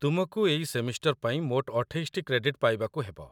ତୁମକୁ ଏଇ ସେମିଷ୍ଟର୍ ପାଇଁ ମୋଟ ଅଠେଇଶଟି କ୍ରେଡିଟ୍‌ ପାଇବାକୁ ହେବ